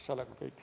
See olekski kõik.